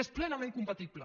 és plenament compatible